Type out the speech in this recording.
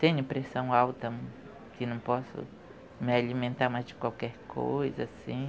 Tenho pressão alta, que não posso me alimentar mais de qualquer coisa, assim.